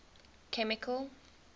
chemical